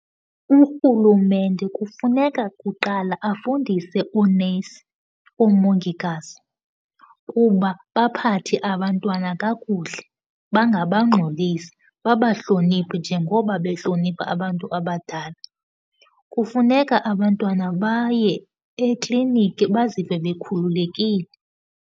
Urhulumente kufuneka kuqala afundise oonesi, oomongikazi, kuba baphathe abantwana kakuhle, bangabangxolisi. Babahloniphe njengoko behlonipha abantu abadala. Kufuneka abantwana baye ekliniki bazive bekhululekile.